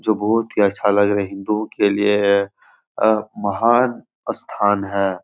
जो बहोत ही अच्छा लग रही हिन्दुओं के लिए ये अ महान अस्थान है।